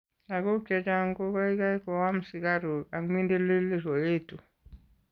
Lagok chechang' ko keikei koam sikaruk ak minindilik koetu.